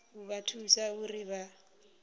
u vha thusa uri vha